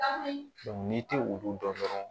n'i tɛ olu dɔn dɔrɔn